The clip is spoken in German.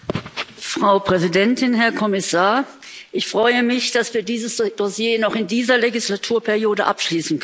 Frau Präsidentin, Herr Kommissar! Ich freue mich, dass wir dieses Dossier noch in dieser Wahlperiode abschließen können.